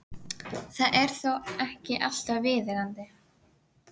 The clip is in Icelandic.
Það er þó ekki alltaf viðeigandi.